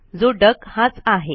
जो डक हाच आहे